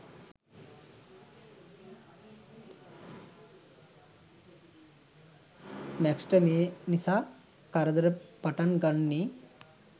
Max ට මේ නිසා කරදර පටන් ගන්නේ